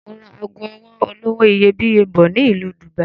Mo ra ago ọwọ́ olówó iyebíye bọ̀ ni Ìlú Dubai